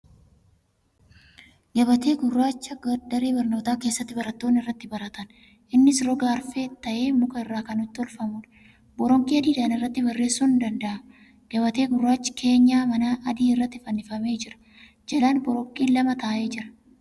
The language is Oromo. Gabatee gurraacha daree barnootaa keessatti barattoonni irratti baratan. Innis roga arfee ta'ee muka irraa kan tolfamuudha. Boronqii adiidhaan irratti barreessuun danda'ama. Gabatee gurraachi keenyaa manaa adii irratti finnifamee jira. Jalaan boronqiin lama taa'ee jira.